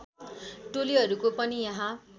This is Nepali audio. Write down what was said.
टोलीहरूको पनि यहाँ